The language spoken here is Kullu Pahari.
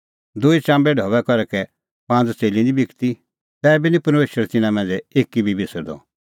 दूई चाम्बे ढबै करै कै पांज़ च़ेल्ली निं बिकदी तैबी निं परमेशर तिन्नां मांझ़ै एकी बी बिसरदअ